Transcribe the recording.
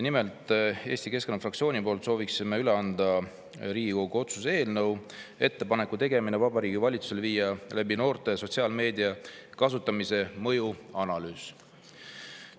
Nimelt, Eesti Keskerakonna fraktsioon soovib üle anda Riigikogu otsuse "Ettepaneku tegemine Vabariigi Valitsusele viia läbi noorte sotsiaalmeedia kasutamise mõju analüüs" eelnõu.